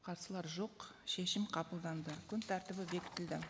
қарсылар жоқ шешім қабылданды күн тәртібі бекітілді